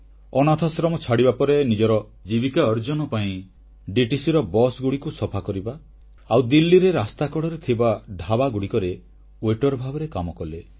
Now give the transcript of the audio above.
ଅନାଥାଶ୍ରମ ଛାଡ଼ିବା ପରେ ନିଜର ଜୀବିକା ଅର୍ଜନ ପାଇଁ ଦିଲ୍ଲୀ ପରିବହନ ନିଗମର ବସଗୁଡ଼ିକୁ ସଫା କରିବା ଆଉ ଦିଲ୍ଲୀରେ ରାସ୍ତାକଡ଼ରେ ଥିବା ଢ଼ାବାଗୁଡ଼ିକରେ ୱେଟର ଭାବେ କାମ କଲେ